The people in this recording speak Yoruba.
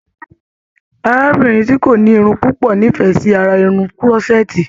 Arábìnrin ti ko ni Irun pupo n'ifẹ sí ará Irun kùrọsẹẹ́ti.